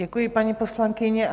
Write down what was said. Děkuji, paní poslankyně.